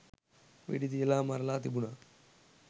වෙඩි තියලා මරලා තිබුණා